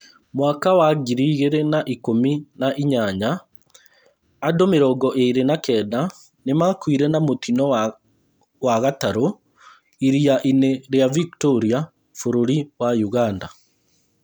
Mwaka wa ngiri igĩrĩ na ikũmi na inyanya andũ mĩrongo ĩĩrĩ na kenda nĩmakuire na mũtino wa gatarũ iria inĩ rĩa Victoria, bũrũri wa Uganda